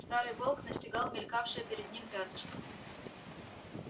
старый волк настигал мелькавшее перед ним пятнышко